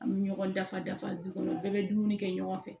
An bɛ ɲɔgɔn dafa dafa du kɔnɔ u bɛɛ bɛ dumuni kɛ ɲɔgɔn fɛ